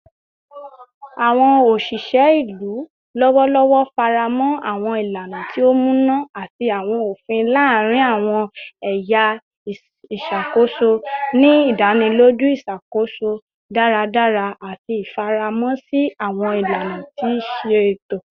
Awọn oṣiṣẹ ilu lọwọlọwọ faramọ awọn ilana ti o muna ati awọn ofin laarin awọn ẹya iṣakoso, ni idaniloju iṣakoso iṣakoso daradara ati ifaramọ si awọn ilana ti iṣeto.